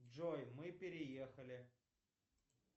джой мы переехали